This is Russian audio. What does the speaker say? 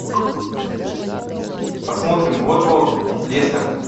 посмотрим уотфорд лестер